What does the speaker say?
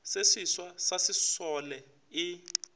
se seswa sa sesole e